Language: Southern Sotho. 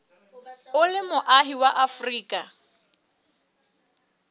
o le moahi wa afrika